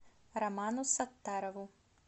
роману саттарову